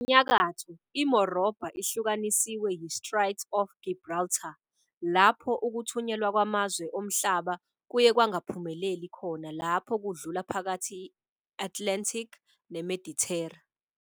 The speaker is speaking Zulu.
Ngasenyakatho, iMorobha ihlukaniswe yi-Strait of Gibraltar, lapho ukuthunyelwa kwamazwe omhlaba kuye kwangaphumeleli khona lapho kudlula phakathi kwe-Atlantic neMedithera.